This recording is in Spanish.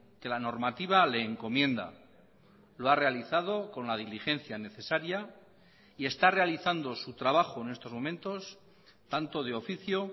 que la normativa le encomienda lo ha realizado con la diligencia necesaria y está realizando su trabajo en estos momentos tanto de oficio